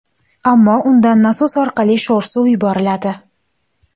Ammo undan nasos orqali sho‘r suv yuboriladi.